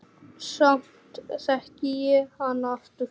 Samt þekki ég hana aftur.